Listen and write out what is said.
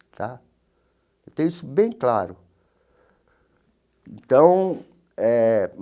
Tá eu tenho isso bem claro então eh.